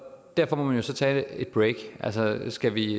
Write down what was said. derfor må man jo så tage et break skal vi